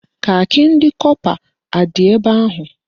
Kakị ndị kọpa adị ebe ahụ?